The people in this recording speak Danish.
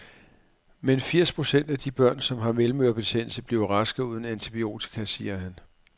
Men firs procent af de børn, som har mellemørebetændelse, bliver raske uden antibiotika, siger han.